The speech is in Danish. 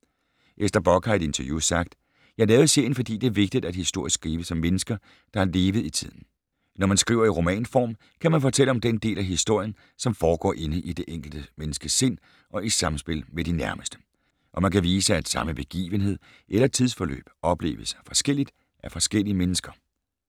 Ester Bock har i et interview sagt: "Jeg lavede serien, fordi det er vigtigt, at historie skrives af mennesker, der har levet i tiden. Når man skriver i romanform, kan man fortælle om den del af historien, som foregår inde i det enkeltes menneskes sind og i samspil med de nærmeste. Og man kan vise, at samme begivenhed eller tidsforløb opleves forskelligt af forskellige mennesker."